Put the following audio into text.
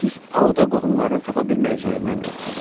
Missis Auda qohumlarını tapa bilməyəcəyindən qorxurdu.